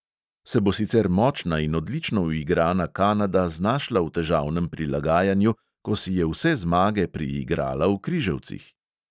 Se bo sicer močna in odlično uigrana kanada znašla v težavnem prilagajanju, ko si je vse zmage priigrala v križevcih?